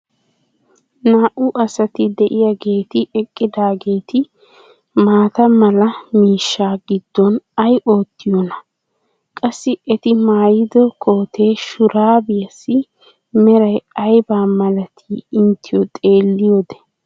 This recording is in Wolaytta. naa'u asati diyaageeti eqqidaageti maata mala miishshaa giddon ay oottiyoonaa? qassi eti maayiddo koote shuraabbiyaassi meray ayba malatii ienteyoo xeeliyoode?